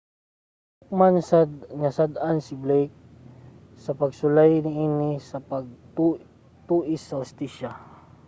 nahukman sad nga sad-an si blake sa pagsulay niini sa pag-tuis sa hustisya